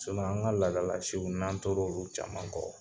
an ka laadalasiw n'an tɔr'olu caman kɔ,